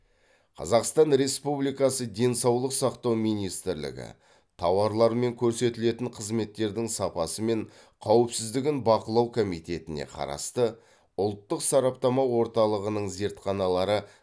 қазақстан республикасы денсаулық сақтау министрлігі тауарлар мен көрсетілетін қызметтердің сапасы мен қауіпсіздігін бақылау комитетіне қарасты ұлттық сараптама орталығының зертханалары